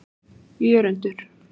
Jörundur